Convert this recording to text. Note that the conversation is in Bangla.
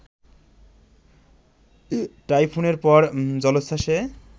টাইফুনের পর জলোচ্ছ্বাসে